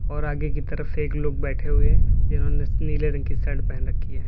और आगे की तरफ एक लोग बैठे हुए हैं जिन्होंने नीले रंग की शर्ट पहन रखी है।